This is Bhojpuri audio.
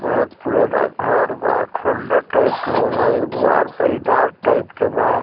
बहुत पुराना घर बा खंडहर टाइप के होला एगो दुवार पे इनार टाइप के बा।